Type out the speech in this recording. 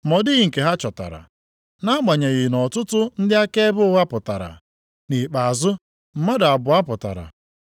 Ma ọ dịghị nke ha chọtara, nʼagbanyeghị nʼọtụtụ ndị akaebe ụgha pụtara. Nʼikpeazụ, mmadụ abụọ pụtara